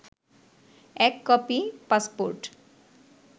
১ copy passport